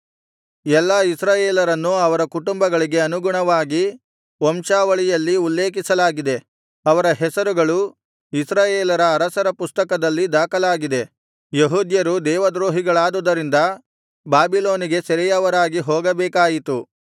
ಎಲ್ಲಾ ಇಸ್ರಾಯೇಲರನ್ನು ಅವರ ಕುಟುಂಬಗಳಿಗೆ ಅನುಗುಣವಾಗಿ ವಂಶಾವಳಿಯಲ್ಲಿ ಉಲ್ಲೇಖಿಸಲಾಗಿದೆ ಅವರ ಹೆಸರುಗಳು ಇಸ್ರಾಯೇಲರ ಅರಸರ ಪುಸ್ತಕದಲ್ಲಿ ದಾಖಲಾಗಿದೆ ಯೆಹೂದ್ಯರು ದೇವದ್ರೋಹಿಗಳಾದುದರಿಂದ ಬಾಬಿಲೋನಿಗೆ ಸೆರೆಯವರಾಗಿ ಹೋಗಬೇಕಾಯಿತು